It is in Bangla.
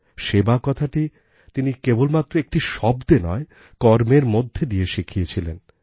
সেবা কথাটি তিনি কেবলমাত্র একটি শব্দে নয় কর্মের মধ্যে দিয়ে শিখিয়েছিলেন